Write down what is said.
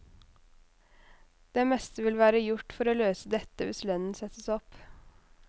Det meste vil være gjort for å løse dette hvis lønnen settes opp.